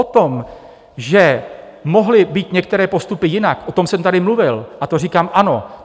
O tom, že mohli být některé postupy jinak, o tom jsem tady mluvil, a to říkám, ano.